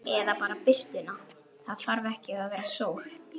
Eða bara birtuna, það þarf ekki að vera sól.